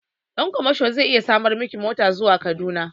Ɗan kwamasho zai iya samar miki mota zuwa Kaduna.